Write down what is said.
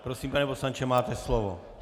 Prosím, pane poslanče, máte slovo.